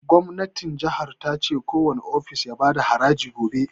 Gwamnatin jihar ta ce kowani ofis ya bada haraji gobe